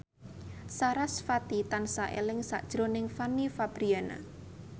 sarasvati tansah eling sakjroning Fanny Fabriana